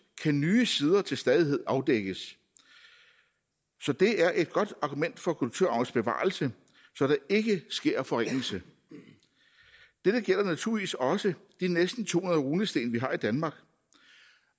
kan nye sider til stadighed afdækkes så det er et godt argument for kulturarvens bevarelse at der ikke sker forringelser dette gælder naturligvis også de næsten to hundrede runesten vi har i danmark